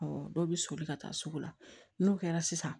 dɔ bɛ soli ka taa sugu la n'o kɛra sisan